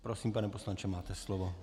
Prosím, pane poslanče, máte slovo.